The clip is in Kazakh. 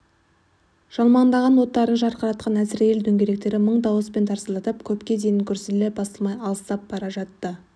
жалмаңдаған оттарын жарқыратқан әзірейіл дөңгелектері мың дауыспен тарсылдап көпке дейін гүрсілі басылмай алыстап бара жатты